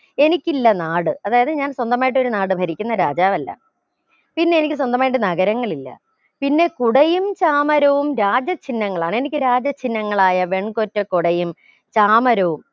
എനിക്കില്ല നാട് അതായത് ഞാൻ സ്വന്തമായിട്ട് ഒരു നാട് ഭരിക്കുന്ന രാജാവല്ല പിന്നെ എനിക്ക് സ്വന്തമായിട്ട് നഗരങ്ങളില്ല പിന്നെ കുടയും ചാമരവും രാജ ചിന്ഹങ്ങളാണ് എനിക്ക് രാജ ചിന്ഹങ്ങളായ വെൺകൊറ്റ കൊടയും ചാമരവും